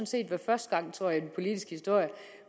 set være første gang tror jeg i den politiske historie